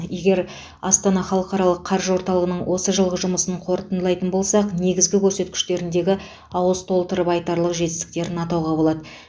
егер астана халықаралық қаржы орталығының осы жылғы жұмысын қорытындылайтын болсақ негізгі көрсеткіштеріндегі ауыз толтырып айтарлық жетістіктерін атауға болады